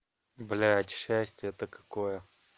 блять счастье-то какое